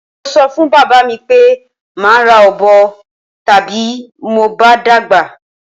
Mo so̩ fún bàbá mi pé màá ra ọ̀bọ ta bí mo bá dàgbà.